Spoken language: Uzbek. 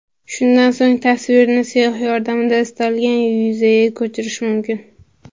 Shundan so‘ng tasvirni siyoh yordamida istalgan yuzaga ko‘chirish mumkin.